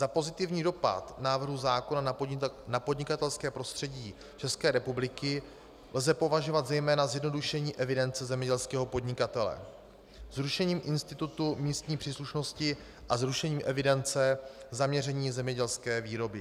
Za pozitivní dopad návrhu zákona na podnikatelské prostředí České republiky lze považovat zejména zjednodušení evidence zemědělského podnikatele, zrušení institutu místní příslušnosti a zrušení evidence zaměření zemědělské výroby.